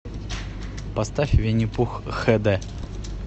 поставь винни пух хд